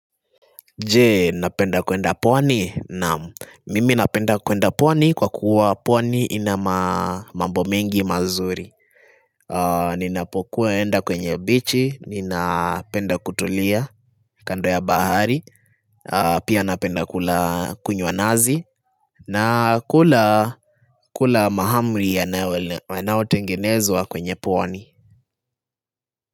Jee, napenda kuenda pwani? Naam, mimi napenda kuenda pwani kwa kuwa pwani ina mambo mingi mazuri. Ninapokuwa enda kwenye bichi, ninapenda kutulia kando ya bahari, pia napenda kula kunywa nazi, na kula mahamri yanaotengenezwa kwenye pwani.